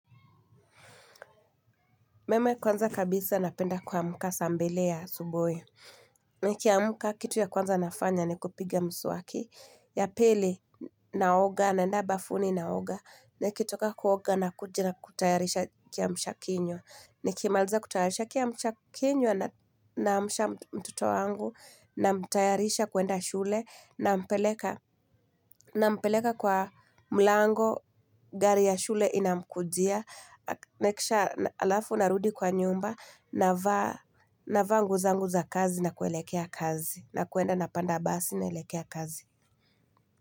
Mimi kwanza kabisa napenda kuamka saa mbili ya asubuhi. Nikiamka kitu ya kwanza nafanya ni kupiga mswaki. Ya pili, naoga, naenda bafuni naoga. Nikitoka kuoga nakuja kutayarisha kiamsha kinywa. Nikimaliza kutayarisha kiamsha kinywa naamsha mtoto wangu namtayarisha kwenda shule nampeleka nampeleka kwa mlango gari ya shule inamkujia. Na kisha halafu narudi kwa nyumba navaa. Navaa nguo zangu za kazi na kuelekea kazi nakwenda napanda basi naelekea kazi.